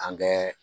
An kɛ